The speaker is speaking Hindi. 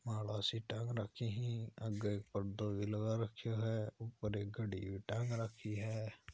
माला टंग रखी है आगे एक पर्दो लगा रखो है ऊपर एक घडी टांग रखी है।